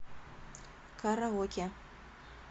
караоке